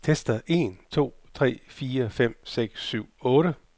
Tester en to tre fire fem seks syv otte.